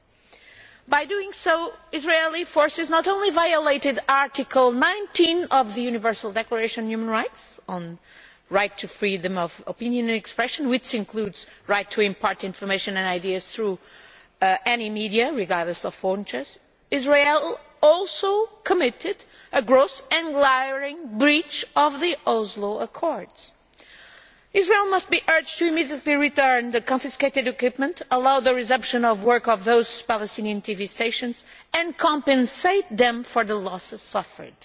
In doing so Israeli forces not only violated Article 19 of the Universal Declaration of Human Rights on the right to freedom of opinion and expression, which includes the right to impart information and ideas through any media, but Israel also committed a gross and glaring breach of the Oslo Accords. Israel must be urged to immediately return the confiscated equipment, allow the resumption of work of those Palestinian TV stations and compensate them for the losses suffered.